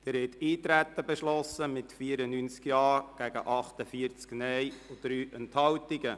Sie haben das Eintreten beschlossen mit 94 Ja- gegen 48 Nein-Stimmen bei 3 Enthaltungen.